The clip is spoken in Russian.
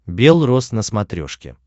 белрос на смотрешке